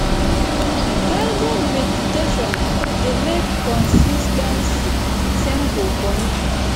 guided meditation dey make consis ten cy simple for me